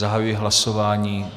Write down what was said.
Zahajuji hlasování.